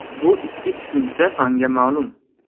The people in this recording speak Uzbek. Bu ikki tushuncha fanga ma’lum.